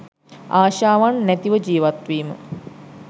ආශාවන් නැතිව ජීවත්වීම